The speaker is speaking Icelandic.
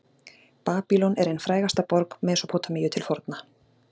babýlon er ein frægasta borg mesópótamíu til forna